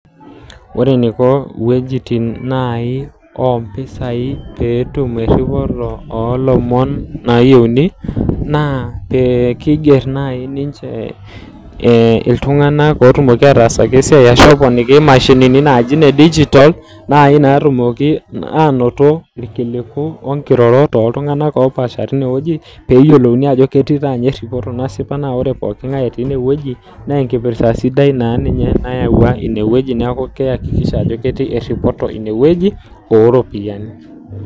Ore eneiko iweujitin naaji oo mpisai pee etum eripoto oolomon naayiouni, naa keiger naaji ninche iltung'ana oidim ataasaki esiai arashu epponiki imashinini naaji ine digitol, naaji natumoki ainoto ilkiliku oonkirorot oo iltung'ana opaasha teine wueji, peeyiolouni naa ajo ketii taaninye eripoto nasipa . Naa ore pooking'ai etii ine wueji, naa enkipirta sidai naa ninye nayauwa ine wueji neaku keihakikisha ajo ketii eripoto ine wueji oo iropiani.